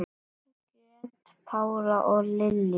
Margrét Pála og Lilja.